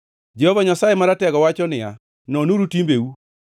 Jehova Nyasaye Maratego wacho niya, “Nonuru timbeu.